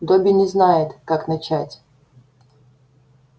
добби не знает как начать